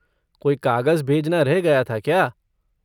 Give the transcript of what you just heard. कोई कागज भेजना रह गया था क्या?